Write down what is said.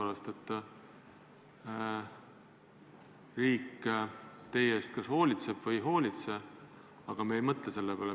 Kas riik meie eest hoolitseb või ei hoolitse, me ei mõtle selle peale.